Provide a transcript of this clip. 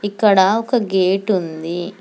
ఇక్కడ ఒక గేటు ఉంది.